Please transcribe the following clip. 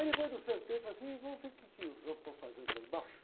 Aí depois eu sentei e falei assim, vamos ver o que que os homens estão fazendo lá embaixo.